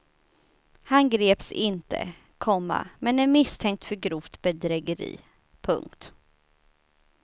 Han greps inte, komma men är misstänkt för grovt bedrägeri. punkt